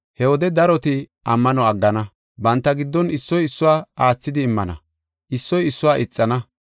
He wode daroti ammano aggana. Banta giddon issoy issuwa aathidi immana, issoy issuwa ixana.